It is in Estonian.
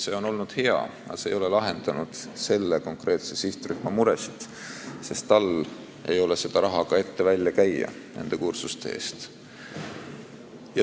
See on olnud hea meede, aga see ei ole lahendanud konkreetse sihtrühma muresid, sest neil ei ole seda raha nende kursuste eest ette välja käia.